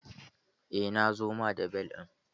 Eh na zo ma da bel ɗin.